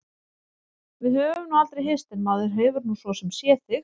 Við höfum nú aldrei hist en maður hefur nú svo sem séð þig.